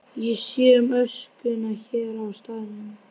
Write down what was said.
Ég sé um öskuna hér á staðnum.